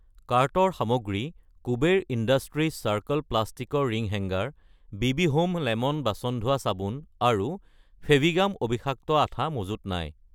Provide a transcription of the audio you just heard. কাৰ্টৰ সামগ্ৰী Kuber industries circle প্লাষ্টিকৰ ring hanger , BB home lemon বাচন ধোৱা চাবোন আৰু ফেভিগাম অবিষাক্ত আঠা মজুত নাই